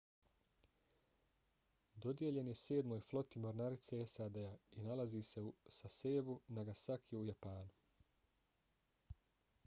dodijeljen je sedmoj floti mornarice sad-a i nalazi se u sasebu nagasaki u japanu